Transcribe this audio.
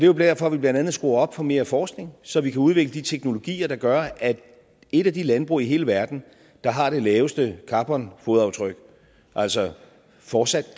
jo derfor vi blandt andet skruer op for mere forskning så vi kan udvikle de teknologier der gør at et af de landbrug i hele verden der har det laveste carbonfodaftryk altså fortsat